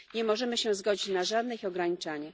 Nie możemy się zgodzić na żadne ich ograniczanie.